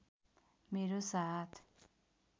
मेरो साथ